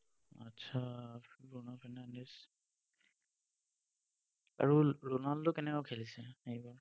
আচ্ছা, Bruno Fernandes. আৰু ৰণা ৰণাল্ড কেনেকুৱা খেলিছে এইবাৰ?